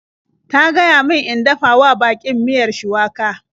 Ta gaya min in dafa wa baƙin miyar shuwaka.